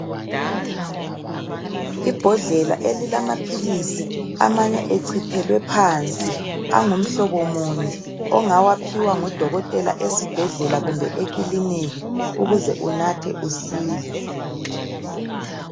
Ibhodlela elilamaphilisi amanye echithelwe phansi angumhlobo munye ongawaphiwa ngudokotela esibhedlela kumbe ekiliniki ukuze unathe usile.